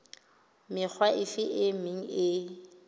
mekga efe e meng e